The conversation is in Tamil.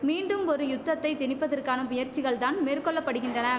மீண்டும் ஒரு யுத்தத்தை திணிப்பதற்கான முயற்சிகள் தான் மேற்கொள்ளப்படுகின்றன